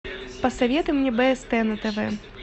посоветуй мне бст на тв